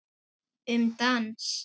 Um dans